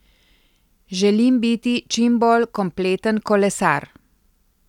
Želim biti čim bolj kompleten kolesar.